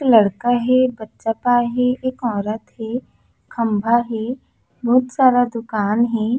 लड़का हे बच्चा पाय हे एक औरत हे खम्भा हे बोहत सारा दूकान हे।